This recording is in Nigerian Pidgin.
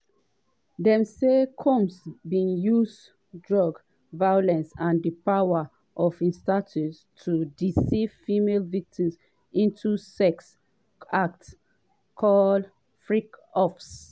dem say combs bin use drugs violence and di power of im status to "deceive female victims" into sex acts called "freak offs".